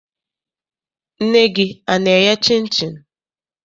Nne gị ana-eye chịnchịn?